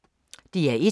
DR1